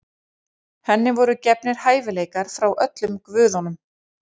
Henni voru gefnir hæfileikar frá öllum guðunum.